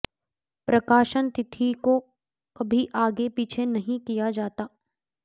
प्रकाशन तिथि को कभी आगे पीछे नहीं किया जाता